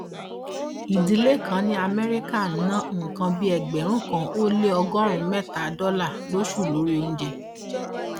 ìdílé kan ní amẹríkà ń ná nǹkan bí ẹgbẹrún kan ó lé ọgọrùnún mẹta dọlà lóṣooṣù lórí oúnjẹ